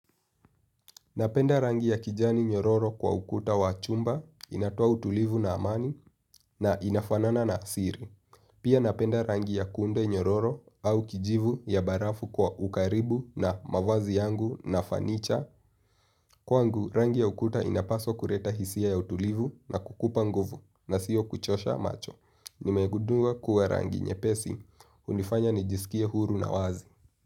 Napenda rangi ya kijani nyororo kwa ukuta wa chumba, inatoa utulivu na amani na inafanana na siri. Pia napenda rangi ya kunde nyororo au kijivu ya barafu kwa ukaribu na mavazi yangu na fanicha. Kwangu, rangi ya ukuta inapaswa kureta hisia ya utulivu na kukupa nguvu nasiyo kuchosha macho. Nimegudunga kuwa rangi nyepesi. Hunifanya nijisikie huru na wazi.